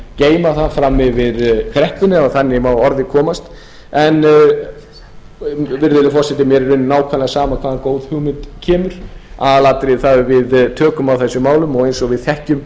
geyma það fram yfir kreppuna ef þannig má að orði komast en virðulegi forseti mér er í rauninni nákvæmlega sama hvaðan góð hugmynd kemur aðalatriðið er það að við tökum á þessum málum og eins og við þekkjum